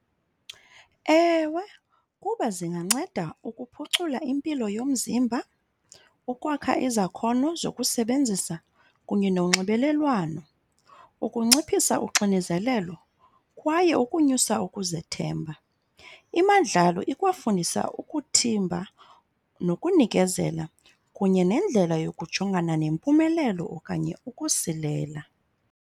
Ewe, kuba zinganceda ukuphucula impilo yomzimba, ukwakha izakhono zokusebenzisa, kunye nonxibelelwano, ukunciphisa uxinezelelo, kwaye ukunyusa ukuzethemba. Imandlalo ikwafundisa ukuthimba nokunikezela kunye nendlela yokujongana nempumelelo okanye ukusilela.